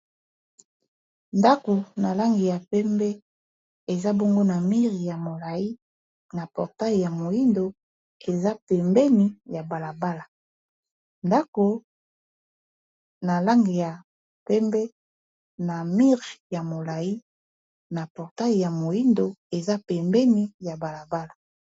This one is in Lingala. ndako na lange ya pembe eza bongo na mire ya molai na portail ya moindo eza pembeni ya balabala ndako na lange ya mpembe na mire ya molai na portail ya moindo eza pembeni ya balabala